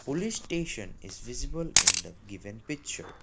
police station is visible in the given picture.